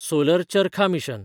solar Charkha mission